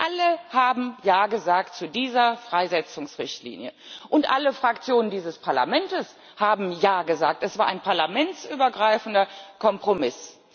Alle haben Ja gesagt zu dieser Freisetzungsrichtlinie. Alle Fraktionen dieses Parlaments haben Ja gesagt, es war ein parlamentsübergreifender Kompromiss.